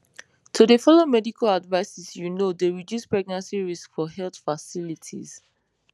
to dey follow medical advices you know dey reduce pregnancy risks for health facilities